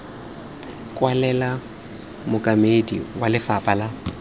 kwalela mookamedi wa lefapha la